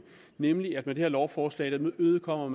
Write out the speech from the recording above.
nemlig at man her lovforslag kun imødekommer